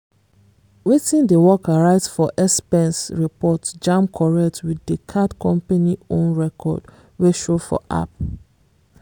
wetin di worker write for expense report jam correct with di card company own record wey show for app.